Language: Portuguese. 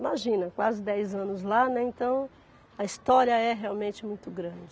Imagina, quase dez anos lá, né, então a história é realmente muito grande.